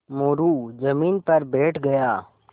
मोरू ज़मीन पर बैठ गया